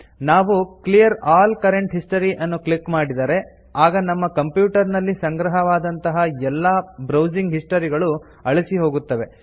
ನಾವು clear all current history ಅನ್ನು click ಮಾಡಿದರೆ ಆಗ ನಿಮ್ಮ ಕಂಪ್ಯೂಟರ್ ನಲ್ಲಿ ಸಂಗ್ರಹವಾದಂತಹ ಎಲ್ಲಾ ಬ್ರೌಸಿಂಗ್ ಹಿಸ್ಟರಿಗಳು ಅಳಿಸಿಹೋಗುತ್ತದೆ